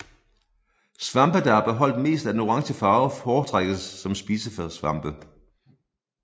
Svampe der har beholdt mest af den orange farve foretrækkes som spisesvampe